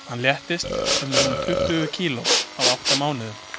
Hann léttist um rúm tuttugu kíló á átta mánuðum.